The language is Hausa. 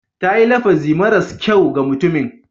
Ta yi lafazi maras kyau ga mutumin.